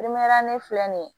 ne filɛ nin ye